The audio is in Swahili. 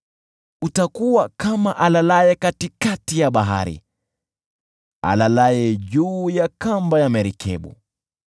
Utakuwa kama alalaye katikati ya bahari, alalaye juu ya kamba ya merikebu.